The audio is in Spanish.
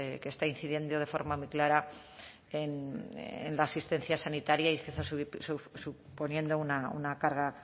que está incidiendo de forma muy clara en la asistencia sanitaria y que está suponiendo una carga